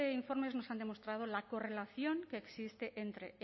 informes nos han demostrado la correlación que existe entre